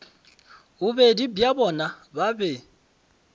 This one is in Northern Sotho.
bobedi bja bona ba be